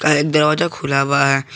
अरे एक दरवाजा खुला हुआ है।